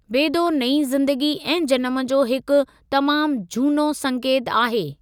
बेदो नई ज़‍िंदगी ऐं जनम जो हिकु तमामु जूनो संकेत आहे।